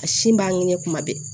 A sin b'a ɲini kuma bɛɛ